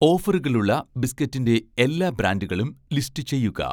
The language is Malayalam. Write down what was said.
ഓഫറുകളുള്ള ബിസ്ക്കറ്റിൻ്റെ എല്ലാ ബ്രാൻഡുകളും ലിസ്റ്റ് ചെയ്യുക